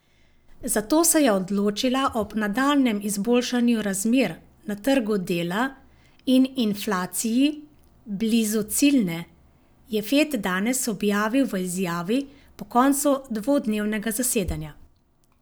Za to se je odločila ob nadaljnjem izboljšanju razmer na trgu dela in inflaciji blizu ciljne, je Fed danes objavil v izjavi po koncu dvodnevnega zasedanja.